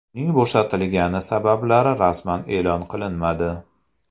Uning bo‘shatilgani sabablari rasman e’lon qilinmadi.